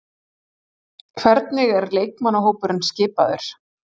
Hvernig er leikmannahópurinn skipaður?